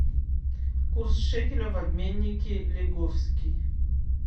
курс шекеля в обменнике лиговский